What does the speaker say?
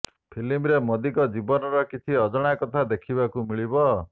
ଫିଲ୍ମରେ ମୋଦିଙ୍କ ଜୀବନର କିଛି ଅଜଣା କଥା ଦେଖିବାକୁ ମିଳିବ